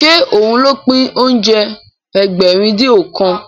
Ṣé òun ló pín oúnjẹ Ẹgbẹ̀rin-dín-ọ̀kan?